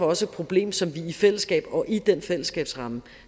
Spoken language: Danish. også et problem som vi i fællesskab og i den fællesskabsramme